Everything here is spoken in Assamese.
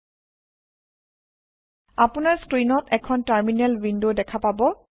আপুনাৰ স্ক্ৰীণত এখন টাৰমিনেল ৱিনদৱ দেখা পাব